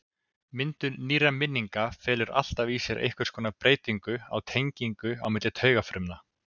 Myndun nýrra minninga felur alltaf í sér einhvers konar breytingu á tengingum á milli taugafruma.